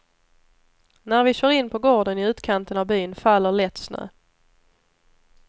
När vi kör in på gården i utkanten av byn faller lätt snö.